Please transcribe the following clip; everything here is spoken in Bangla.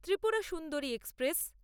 ত্রিপুরা সুন্দরী এক্সপ্রেস